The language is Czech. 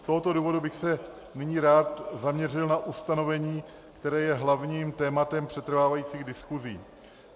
Z tohoto důvodu bych se nyní rád zaměřil na ustanovení, které je hlavním tématem přetrvávajících diskusí.